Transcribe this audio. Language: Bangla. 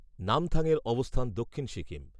নামথাংয়ের অবস্থান দক্ষিণ সিকিম।